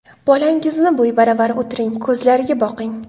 Bolangizni bo‘yi baravar o‘tiring, ko‘zlariga boqing.